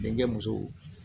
Denkɛ muso